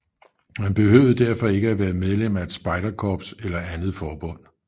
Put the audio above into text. Man behøvede derfor ikke være medlem af et spejderkorps eller andet forbund